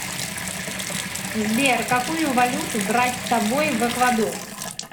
сбер какую валюту брать с собой в эквадор